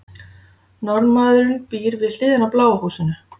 Norðmaðurinn býr við hliðina á bláa húsinu.